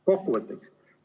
Kokkuvõtteks.